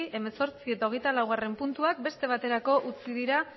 hemezortzi eta hogeita laugarrena puntuak beste baterako utzi dira